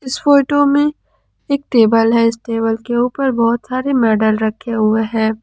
इस फोटो में एक टेबल है इस टेबल के ऊपर बहोत सारे मेडल रखे हुए हैं।